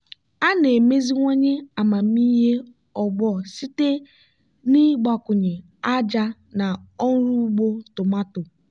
a na-emeziwanye amamihe ọgbọ site n'ịgbakwụnye ájá na ọrụ ugbo tomato.